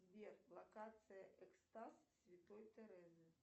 сбер локация экстаз святой терезы